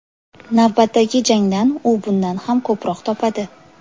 Navbatdagi jangdan u bundan ham ko‘proq topadi.